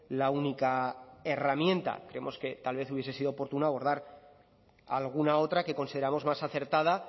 la única herramienta creemos que tal vez hubiese sido oportuno abordar alguna otra que consideramos más acertada